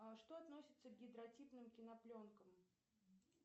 что относится к гидротипным кинопленкам